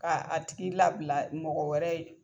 K'a a tigi labila mɔgɔ wɛrɛ ye.